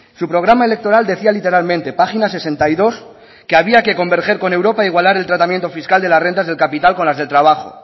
su programa electoral decía literalmente página sesenta y dos que había que convergen con europa igualar el tratamiento fiscal de las rentas de capital con las del trabajo